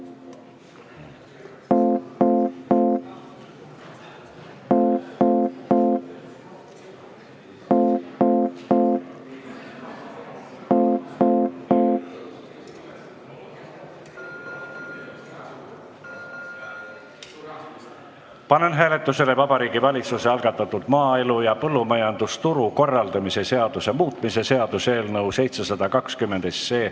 Panen hääletusele Vabariigi Valitsuse algatatud maaelu ja põllumajandusturu korraldamise seaduse muutmise seaduse eelnõu 720.